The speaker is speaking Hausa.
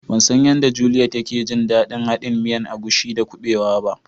Ban san yanda " Juliet" ya ke jin dandin haɗin miyan agushi da kubewa ba.